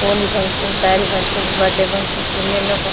ఓని functions sorry functions birthday functions ఎన్నెన్నో funk--